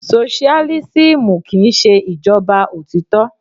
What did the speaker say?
Soṣiálísímù kí ń ṣe ìjọba òtítọ́.